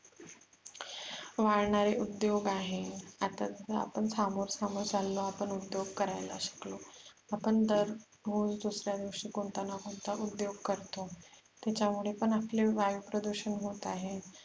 वाढणारे उद्योग आहे आता आपण थांबत थांबत चाललो उद्योग करायला सुटलो आपण दर दुसऱ्या दिवशी कोणता न कोणता उद्योग करतो त्याच्यामुळे पण आपले वायु प्रदुषण होते आहे.